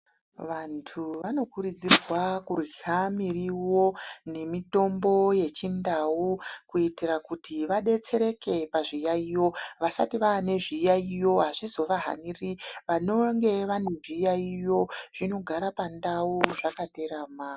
Vantu vanokurudzirwa kurya muriwo nemitombo yechindau kuitira kuti vadetsereke pazviyaiyo. Vasati vane zviyaiyo azvizovahaniri, vanenge vanezviyaiyo zvinogara pandau zvakaterama.